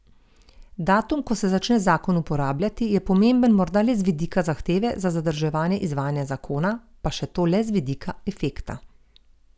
Datum, ko se začne zakon uporabljati, je pomemben morda le z vidika zahteve za zadržanje izvajanja zakona, pa še to le z vidika efekta.